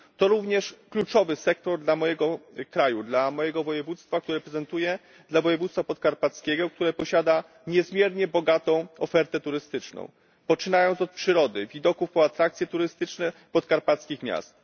To również kluczowy sektor dla mojego kraju, dla mojego województwa, dla województwa podkarpackiego, które posiada niezmiernie bogatą ofertę turystyczną, poczynając od przyrody, widoków, po atrakcje turystyczne podkarpackich miast.